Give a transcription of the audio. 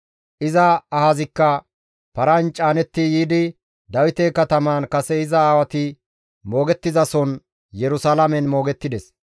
Iza ahazikka paran caanetti yiidi Dawite katamaan kase iza aawati moogettizason Yerusalaamen moogettides.